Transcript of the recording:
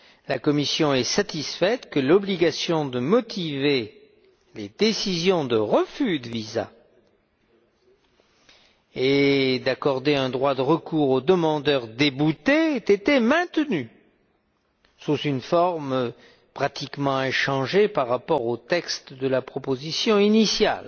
La Commission est satisfaite que l'obligation de motiver les décisions de refus de visas et d'accorder un droit de recours aux demandeurs déboutés ait été maintenue sous une forme pratiquement inchangée par rapport au texte de la proposition initiale,